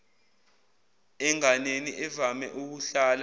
enganeni evame ukuhlala